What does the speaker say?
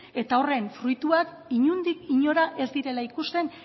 eta horren fruituak inondik inora ez direla ikusten